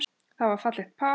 Það var fallegt par.